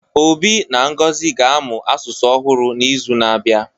Obi na Ngozi ga-amụ asụsụ ọhụrụ n'izu na-abịa